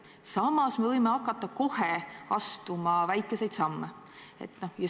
Samas me võime hakata kohe astuma väikeseid samme.